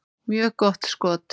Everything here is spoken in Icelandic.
Mjög gott skot.